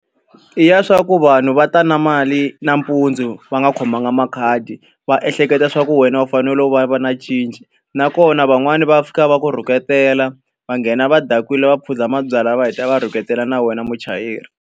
I ya leswaku vanhu va ta na mali nampundzu va nga khomanga makhadi, va ehleketa leswaku wena u fanele ku va u va na cinci. Nakona van'wani va fika va ku rhuketela, va nghena va dakwile, va phuza mabyalwa, va heta va rhuketela na wena muchayeri.